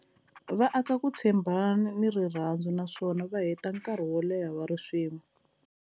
Va aka ku tshembana ni rirhandzu naswona va heta nkarhi wo leha va ri swin'we.